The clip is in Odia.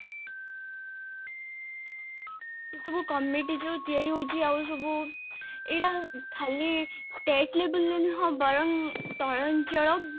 ଏଇ ସବୁ committee ଯୋଉ ତିଆରି ହାଉଛି ଆଉ ସବୁ, ଏଟା ଖାଲି tech levelରେ ନ ବରଂ ତଳଅଞ୍ଚଳ